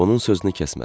Onun sözünü kəsmədim.